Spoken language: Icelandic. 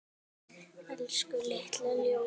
Elsku litla ljós.